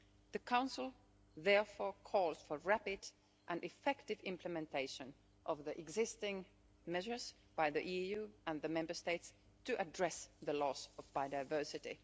The Council therefore calls for rapid and effective implementation of the existing measures by the EU and the Member States to address the loss of biodiversity.